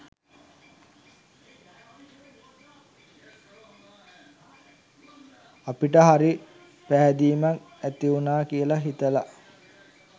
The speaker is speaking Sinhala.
අපට හරි පැහැදීමක් ඇතිවුණා කියලා හිතලා